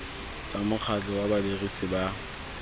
tsa mokgatlho wa badirisi ba